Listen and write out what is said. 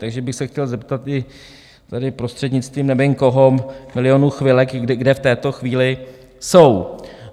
Takže bych se chtěl zeptat i tady, prostřednictvím nevím koho, Milionu chvilek, kde v této chvíli jsou?